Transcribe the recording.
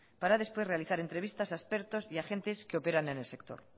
para después realizar entrevistas a expertos y a agentes que operan en el sector